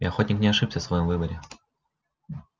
и охотник не ошибся в своём выборе